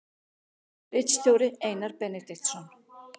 Ritstjóri Einar Benediktsson.